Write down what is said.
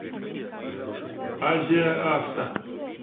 азия авто